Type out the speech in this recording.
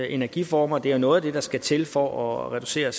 energiformer det er noget af det der skal til for at reducere